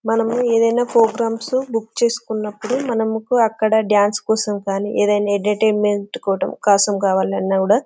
మనము ఎది ఐనా ప్రొగ్రమ్మె ని బుక్ చేసినపుడు మంకు అక్కడ డాన్స్ కోసం కానీ ఈదిన ఏడవర్తిసెమెంట్ కోసం కావాలన్నా కూడా --